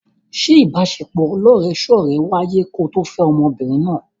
Ṣé ìbaṣepọ̀ ọlọ́rẹ̀ẹ́sọ́rẹ̀ẹ́ wáyé ko tó fẹ́ ọmọbìnrin náà?